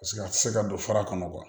Paseke a tɛ se ka don fara kɔnɔ